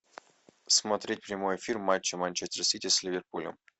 смотреть прямой эфир матча манчестер сити с ливерпулем